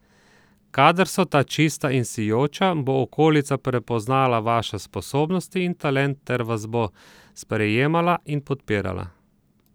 Kadar so ta čista in sijoča, bo okolica prepoznala vaše sposobnosti in talent ter vas bo sprejemala in podpirala.